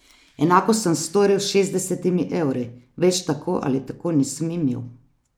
Enako sem storil s šestdesetimi evri, več tako ali tako nisem imel.